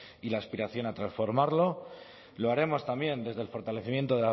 y la aspiración a transformarlo lo haremos también desde el fortalecimiento